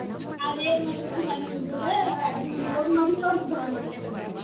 ಅದ ಏನ ಮಾಡ್ಬೇಕ್ರಿ ಸಣ್ಣ ಹುಡ್ಗುರ್ಗ ಅಡ್ಗಿ ಮನಿಗ ಹೋಗಿ ಮದ್ಲ ತೋರ್ಸಬೇಕ್ರಿ hotel ದ.